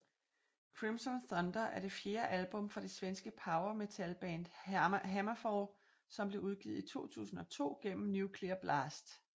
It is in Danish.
Crimson Thunder er det fjerde album fra det svenske power metalband HammerFall som blev udgivet i 2002 gennem Nuclear Blast